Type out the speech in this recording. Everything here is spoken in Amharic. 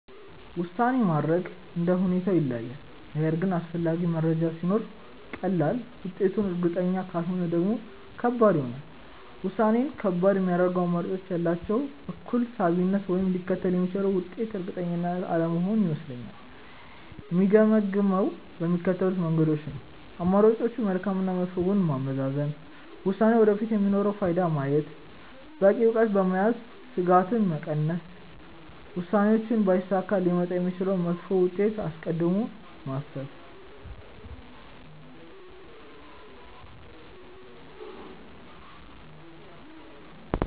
ውሳኔ ማድረግ እንደ ሁኔታው ይለያያል፤ ነገር ግን አስፈላጊ መረጃ ሲኖር ቀላል፣ ውጤቱ እርግጠኛ ካልሆነ ደግሞ ከባድ ይሆናል። ውሳኔን ከባድ የሚያደርገው አማራጮቹ ያላቸው እኩል ሳቢነት ወይም ሊከተል የሚችለው ውጤት እርግጠኛ አለመሆን ይመስለኛል። የምገመግመው በሚከተሉት መንገዶች ነው፦ የአማራጮችን መልካም እና መጥፎ ጎን ማመዛዘን፣ ውሳኔው ወደፊት የሚኖረውን ፋይዳ ማየት፣ በቂ እውቀት በመያዝ ስጋትን መቀነስ፣ ውሳኔው ባይሳካ ሊመጣ የሚችለውን መጥፎ ውጤት አስቀድሞ ማሰብ።